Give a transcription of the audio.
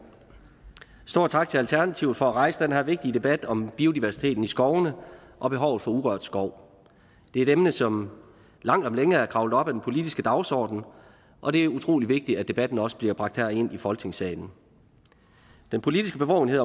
stor tak til alternativet for at rejse den her vigtige debat om biodiversiteten i skovene og behovet for urørt skov det er et emne som langt om længe er kravlet op ad den politiske dagsorden og det er utrolig vigtigt at debatten også bliver bragt herind i folketingssalen den politiske bevågenhed